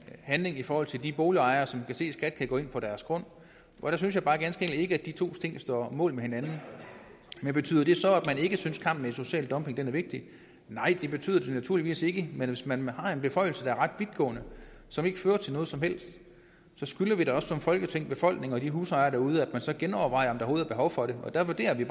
handling i forhold til de boligejere som kan se skat kan gå ind på deres grund og der synes jeg bare ganske enkelt ikke at de to ting står mål med hinanden men betyder det så at man ikke synes kampen mod social dumping er vigtig nej det betyder det naturligvis ikke men hvis man har en beføjelse der er ret vidtgående og som ikke fører til noget som helst så skylder vi da også som folketing befolkningen og de husejere derude at man så genovervejer om der overhovedet er behov for det og der vurderer vi